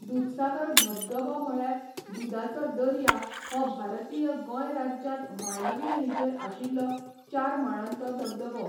दुधसागर धबधबो म्हळ्यार 'दुदाचो दर्या' हो भारतीय गोंय राज्यांत मांडोवी न्हंयचेर आशिल्लो चार माळांचो धबधबो.